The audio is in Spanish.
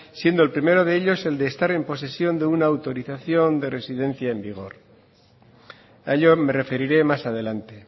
siendo el primero de ellos el de estar en posesión de una autorización de residencia en vigor a ello me referiré más adelante